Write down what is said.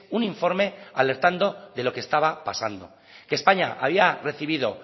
un informe alertando de lo que estaba pasando que españa había recibido